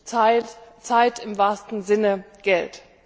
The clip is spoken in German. Hier ist Zeit im wahrsten Sinne Geld.